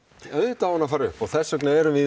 auðvitað á hún að fara upp þess vegna erum við